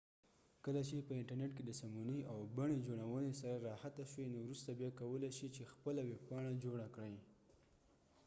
کله چې په انترنیت کې د سمونې او بڼې جوړونې سره راحته شوې نو وروسته بیا کولای شې چې خپله ویبپاڼه جوړه کړې